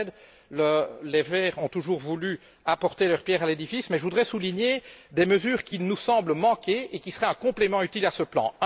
Cher Manfred, les Verts ont toujours voulu apporter leur pierre à l'édifice, mais je voudrais souligner des mesures qui nous semblent manquer et qui seraient un complément utile à ce plan.